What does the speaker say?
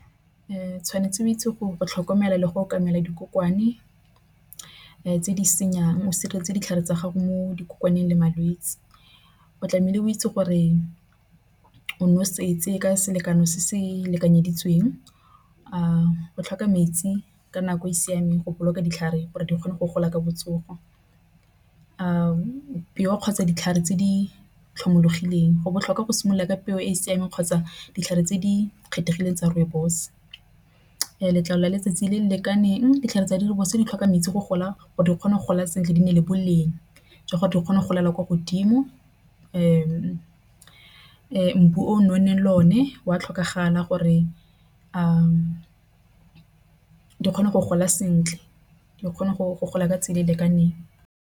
Tshwanetse o itse gore go tlhokomela le go tlhokomela dikokomane tse di senyang. O sireletse ditlhare tsa gago mo dikokomaneng le malwetsi. O tlamehile o itse gore o nosetse ka selekano se se lekanyeditsweng. Go tlhoka metsi ka nako e e siameng go boloka ditlhare gore di kgone go gola ka botsogo, kgotsa ditlhare tse di tlhomologileng go botlhokwa go simolola ka peo e e siameng kgotsa ditlhare tse di kgethegileng tsa rooibos. Letlalo la letsatsi le le lekaneng ditlhare tsa dikgwebo se di tlhoka metsi go gola gore di kgone go gola sentle di na le boleng jwa gore di kgone golela kwa godimo. Le mmu o nonneng le o ne wa tlhokagala gore a kgone go gola sentle di kgone go gola ka tse di lekaneng.